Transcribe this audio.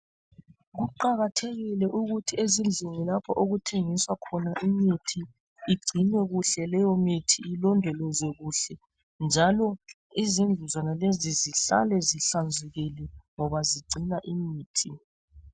Kuqakathekile ukuthi ezindlini lapha okuthengiswa khona imithi igcinwe kuhle leyomithi ilondolozwe kuhle njalo izindlu zonalezi zihlale zihlanzekile ngoba zigcina imithi.